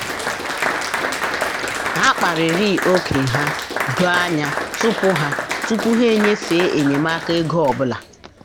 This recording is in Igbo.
ha kparịrị ókè ha doo anya tupu ha tupu ha enyefe enyemaka ego ọ bụla.